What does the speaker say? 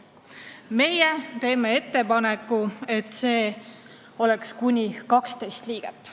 Meie teeme ettepaneku, et see oleks kuni 12 liiget.